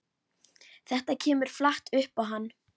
Þetta kemur flatt upp á hann.